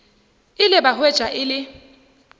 ile ba hwetša e le